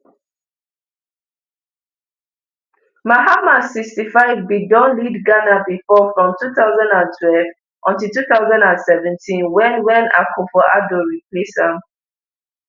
mahama sixty-five bin don lead ghana before from two thousand twenty until two thousand and seventeen wen wen akufoaddo replace am